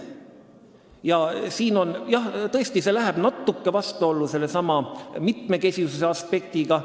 Jah, see läheb tõesti natuke vastuollu sellesama mitmekesisuse aspektiga.